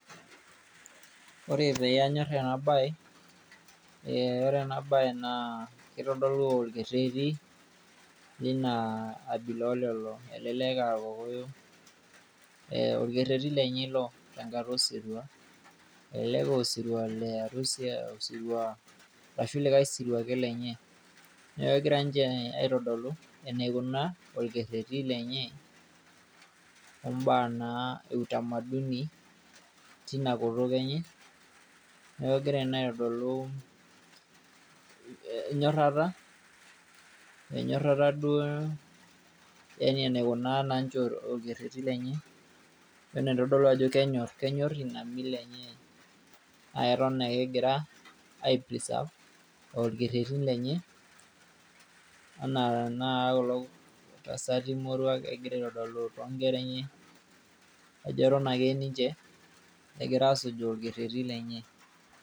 Ore peyie anyorr ena bae ,ee ore ena bae naa kitodolu orkereti lina abila olelo tunganak. Elelek aa irkokoyo ,ee orkereti lenye ilo elelek aa osirua le arusi ,arashu likae sirua ake lenye .niaku egira ninche aitodolu enikunaa orkereti lenye ombaa naa e utamaduni tina kutuk enye . Niaku egira naa aitodolu enyorata , enyorata duo Yani enaikunaa ninche orkereti lenye.